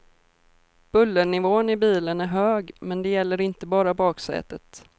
Bullernivån i bilen är hög men det gäller inte bara baksätet.